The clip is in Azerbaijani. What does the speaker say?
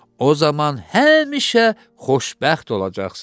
O zaman həmişə xoşbəxt olacaqsız.